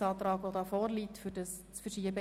Ein entsprechender Ordnungsantrag liegt uns vor.